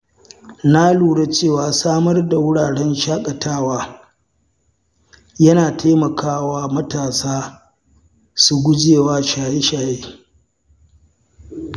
Na lura cewa samar da wuraren shaƙatawa, yana taimakawa matasa su gujewa shaye-shaye.